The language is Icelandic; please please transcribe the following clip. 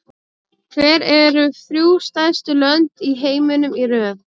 Hver eru þrjú stærstu lönd í heiminum í röð?